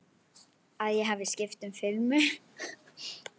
Að ég hafi skipt um filmu.